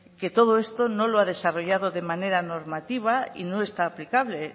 que todo esto no lo ha desarrollado de manera normativa y no está aplicable